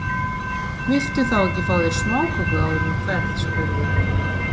Viltu þá ekki fá þér smáköku áður en þú ferð spurði hún.